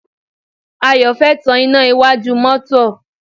Ayọ̀ fẹ́ tan iná iwájú mọ́tọ́.